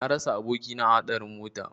Na rasa abokina a hadarin mota.